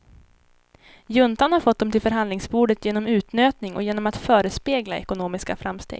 Juntan har fått dem till förhandlingsbordet genom utnötning och genom att förespegla ekonomiska framsteg.